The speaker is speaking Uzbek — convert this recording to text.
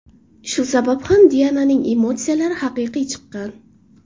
Shu sabab ham Diananing emotsiyalari haqiqiy chiqqan.